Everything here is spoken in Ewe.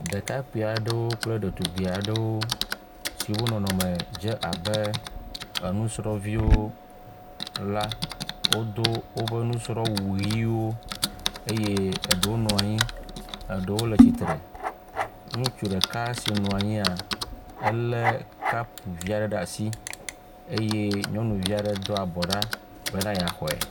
Ɖekakpui aɖewo kple ɖetugbui aɖewo siwo nɔnɔme dze abe nusrɔ̃viwo la wodo woƒe nusrɔ̃wuʋiwo eye eɖewo nɔ anyi eye eɖewo le tsitre. Ŋutsu ɖeka si nɔ anyi la lé kapu vi aɖe ɖe asi eye nyɔnuvi aɖe do abɔ ɖa be yeaxɔe.